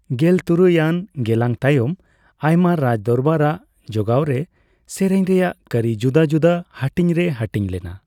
ᱜᱮᱞᱛᱩᱨᱩᱭ ᱟᱱ ᱜᱮᱞᱟᱝ ᱛᱟᱭᱚᱢ, ᱟᱭᱢᱟ ᱨᱟᱡᱽᱫᱚᱨᱵᱟᱨ ᱟᱜ ᱡᱚᱜᱜᱟᱣᱨᱮ, ᱥᱮᱨᱮᱧ ᱨᱮᱭᱟᱜ ᱠᱟᱹᱨᱤ ᱡᱩᱫᱟᱹᱼᱡᱩᱫᱟᱹ ᱦᱟᱹᱴᱤᱧ ᱨᱮ ᱦᱟᱴᱤᱧ ᱞᱮᱱᱟ ᱾